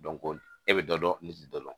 e bɛ dɔ dɔn ne tɛ dɔ dɔn